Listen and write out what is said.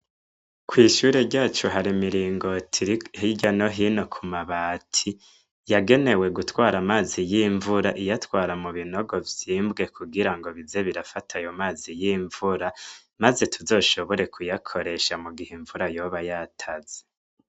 Kw'ishure ryacu hari imiringoti hirya no hino kumabati yagenewe gitwara amazi yimvura iyatwara mubinogo vyimbwee kugira bize birafata amazi yimvura maze tuzoshobora kuyakoresha igihe imvura uzoba yataze.